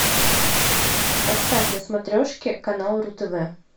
поставь на смотрешке канал ру тв